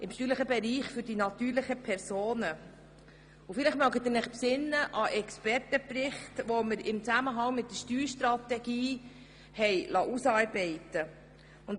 Vielleicht können Sie sich an den Expertenbericht erinnern, den wir im Zusammenhang mit der Steuerstrategie ausarbeiten liessen.